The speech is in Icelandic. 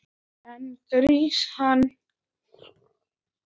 Enginn grís, mann!